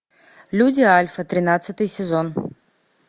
люди альфа тринадцатый сезон